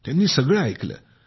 त्यांनी सगळे ऐकले